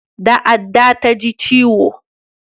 Da adda ta ji ciwo